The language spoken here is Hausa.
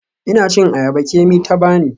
Ina cin ayaba Kemi ta bani.